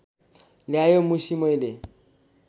ल्यायो मुसि मैले